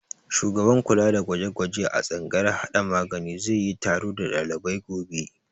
Shugaban kula da gwaje-gwaje a tsangayar hada magani za yi taro da dalibai gobe.